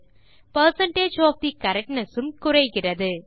percentage of the correctness உம் குறைகிறது